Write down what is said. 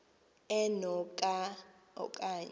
eno ka okanye